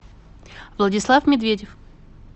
владислав медведев